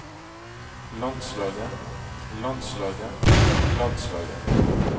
landslaget landslaget landslaget